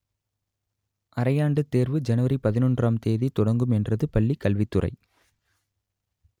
அரையாண்டுத் தேர்வு ஜனவரி பதினொன்றாம் தேதி தொடங்கும் என்றது பள்ளி கல்வித்துறை